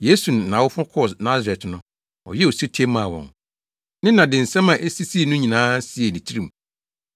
Yesu ne nʼawofo kɔɔ Nasaret no, ɔyɛɛ osetie maa wɔn. Ne na de nsɛm a esisii no nyinaa siee ne tirim.